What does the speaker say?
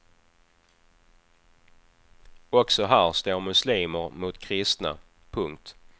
Också här står muslimer mot kristna. punkt